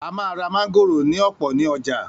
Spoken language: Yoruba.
A máa ra mángòrò ní ọ̀pọ̀ ní ọjà.